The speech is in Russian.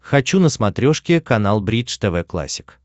хочу на смотрешке канал бридж тв классик